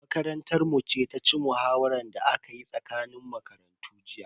Makarantar mu ce ta ci muhawaran da aka yi tsakanin makarantu jiya.